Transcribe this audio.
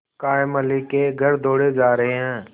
कायमअली के घर दौड़े जा रहे हैं